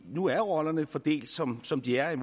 nu er rollerne fordelt som som de er i